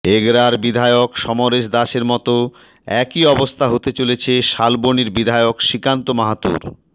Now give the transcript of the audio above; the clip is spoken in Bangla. এগরার বিধায়ক সমরেশ দাসের মতো একই অবস্থা হতে চলেছে শালবনির বিধায়ক শ্রীকান্ত মাহাতোর